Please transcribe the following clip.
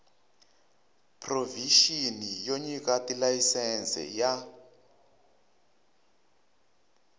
provixini yo nyika tilayisense ya